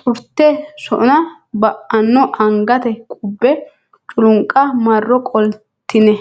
xurte sona ba anno Angate qubbe culunqa marro qoltine.